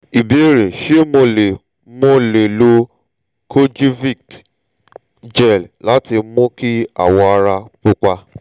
ìbéèrè: ṣé mo lè mo lè lo kojivit gel láti mú kí awọ ara pupa?